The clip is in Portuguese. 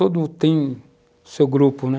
Todo tem seu grupo, né?